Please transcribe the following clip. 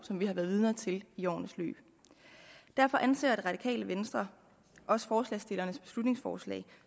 som vi har været vidner til i årenes løb derfor anser radikale venstre også forslagsstillernes beslutningsforslag